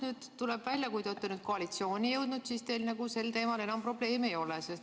Praegu tuleb välja, et kui te olete koalitsiooni jõudnud, siis teil sel teemal enam probleemi ei ole.